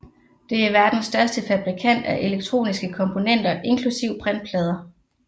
Det er verdens største fabrikant af elektroniske komponenter inklusiv printplader